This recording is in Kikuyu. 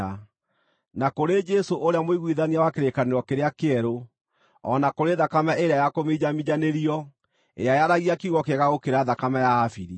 na kũrĩ Jesũ ũrĩa mũiguithania wa kĩrĩkanĩro kĩrĩa kĩerũ, o na kũrĩ thakame ĩrĩa yakũminjaminjanĩrio ĩrĩa yaragia kiugo kĩega gũkĩra thakame ya Habili.